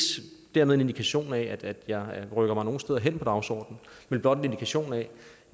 dermed en indikation af at jeg rykker mig nogen steder hen på dagsordenen men blot en indikation af